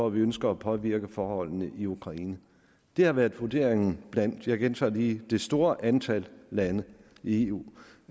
ønsker at påvirke forholdene i ukraine det har været vurderingen blandt og jeg gentager lige det store antal lande i eu